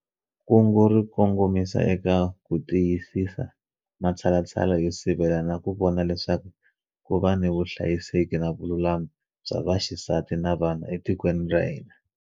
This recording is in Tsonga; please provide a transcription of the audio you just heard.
Kungu ri kongomisa eka ku tiyisisa matshalatshala yo sivela na ku vona leswaku ku na vuhlayiseki na vululami bya vaxisati na vana etikweni ra hina.